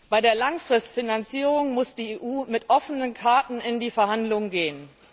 Bei der Langfristfinanzierung muss die EU mit offenen Karten in die Verhandlungen gehen.